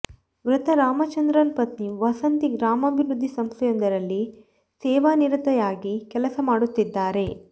ಮೃತ ರಾಮಚಂದ್ರನ ಪತ್ನಿ ವಸಂತಿ ಗ್ರಾಮಾಭಿವೃದ್ಧಿ ಸಂಸ್ಥೆಯೊಂದರಲ್ಲಿ ಸೇವಾನಿರತೆಯಾಗಿ ಕೆಲಸ ಮಾಡುತ್ತಿದ್ದಾರೆ